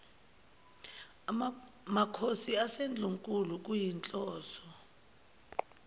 makhosi asendlunkulu kuyinhloso